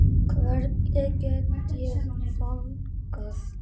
Hvernig get ég fagnað?